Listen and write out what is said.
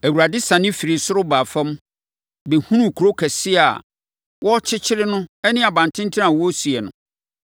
Awurade siane firii soro baa fam, bɛhunuu kuro kɛseɛ a wɔrekyekyere no ne abantenten a wɔresi no.